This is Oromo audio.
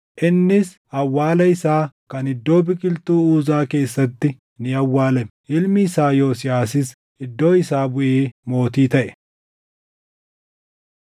Innis awwaala isaa kan iddoo biqiltuu Uzaa keessatti ni awwaalame. Ilmi isaa Yosiyaasis iddoo isaa buʼee mootii taʼe.